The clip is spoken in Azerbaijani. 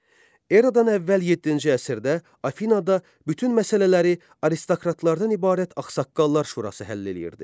Eradan əvvəl yeddinci əsrdə Afinada bütün məsələləri aristokratlardan ibarət ağsaqqallar şurası həll eləyirdi.